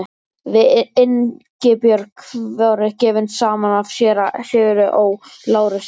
Við Ingibjörg voru gefin saman af séra Sigurði Ó. Lárussyni.